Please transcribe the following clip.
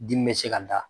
Dimi bɛ se ka da